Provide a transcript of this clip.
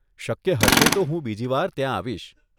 શક્ય હશે તો હું બીજી વાર ત્યાં આવીશ.